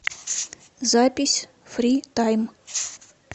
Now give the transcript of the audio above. запись фри тайм